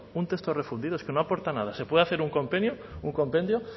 un texto refundido es que no aporta nada se puede hacer un compendio